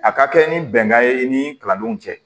A ka kɛ ni bɛnkan ye i ni kalandenw cɛ